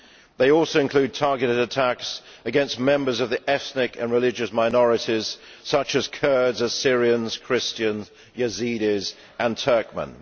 They also include targeted attacks against members of the ethnic and religious minorities such as Kurds, Syrians, Christians, Yazidis and Turkmen.